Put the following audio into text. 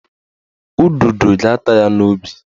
Ududo ga-ata ya n'obi